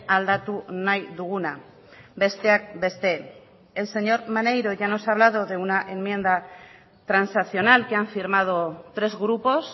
aldatu nahi duguna besteak beste el señor maneiro ya nos ha hablado de una enmienda transaccional que han firmado tres grupos